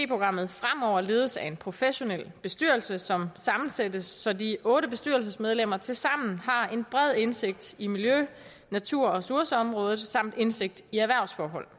programmet fremover ledes af en professionel bestyrelse som sammensættes så de otte bestyrelsesmedlemmer tilsammen har en bred indsigt i miljø natur og ressourceområdet samt indsigt i erhvervsforhold